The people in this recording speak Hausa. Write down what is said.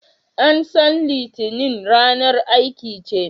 An san litinin ranar aiki ce